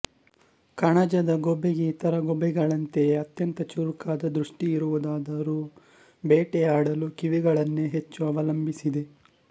ಕಣಜದ ಗೂಬೆಗೆ ಇತರ ಗೂಬೆಗಳಂತೆಯೆ ಅತ್ಯಂತ ಚುರುಕಾದ ದೃಷ್ಟಿಯಿರುವುದಾದರೂ ಬೇಟೆಯಾಡಲು ಕಿವಿಗಳನ್ನೆ ಹೆಚ್ಚು ಅವಲಂಬಿಸಿದೆ